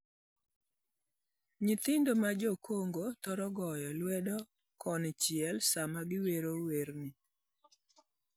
Nyithindo ma Jo-Kongo thoro goyo lwedo konchiel sama giwero werni: